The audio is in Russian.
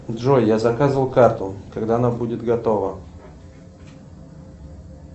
джой я заказывал карту когда она будет готова